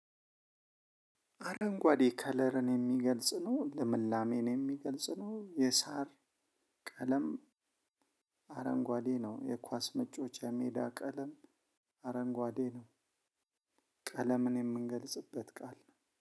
አረንጓዴ ከለርን የሚገልጽ ነው ልምላሜን የሚገልጽ ነው የሳር ቀለም አረንጓዴ ነው። የኳስ መጫወቻ የሜዳ ቀለም አረንጓዴ ነው። ቀለምን የምንገልጽበት ቃል ነው